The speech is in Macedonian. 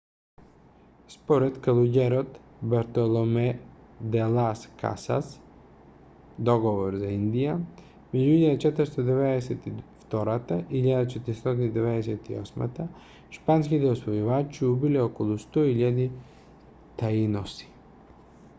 според калуѓерот бартоломе де лас касас договор за индија меѓу 1492 и 1498 шпанските освојувачи убиле околу 100.000 таиноси